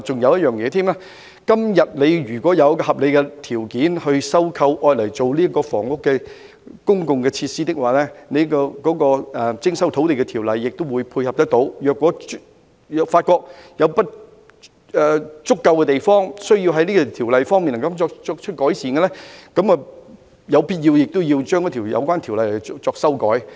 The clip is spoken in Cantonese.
如果政府以合理條件徵收土地作公共設施，亦有徵收土地的條例可作配合，如果發覺有不足的地方，需要就條例作出改善，亦有必要就有關條例作修改。